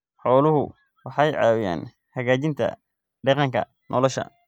Xooluhu waxay caawiyaan hagaajinta deegaanka nolosha.